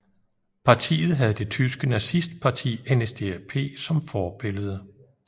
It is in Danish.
Partiet havde det tyske nazistparti NSDAP som forbillede